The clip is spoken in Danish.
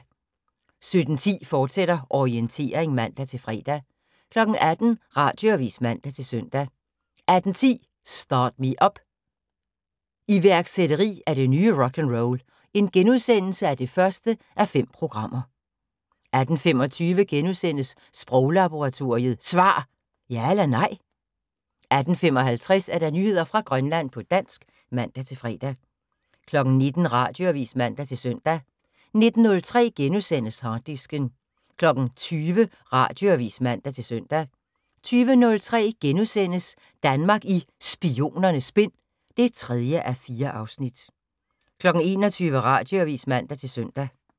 17:10: Orientering, fortsat (man-fre) 18:00: Radioavis (man-søn) 18:10: Start Me Up - iværksætteri er det nye rock'n'roll (1:5)* 18:25: Sproglaboratoriet: Svar! Ja eller nej? * 18:55: Nyheder fra Grønland på dansk (man-fre) 19:00: Radioavis (man-søn) 19:03: Harddisken * 20:00: Radioavis (man-søn) 20:03: Danmark i Spionernes Spind (3:4)* 21:00: Radioavis (man-søn)